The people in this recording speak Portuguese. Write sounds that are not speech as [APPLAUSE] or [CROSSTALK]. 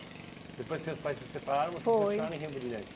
Depois que seus pais se separaram, Foi vocês [UNINTELLIGIBLE] em Rio Brilhante?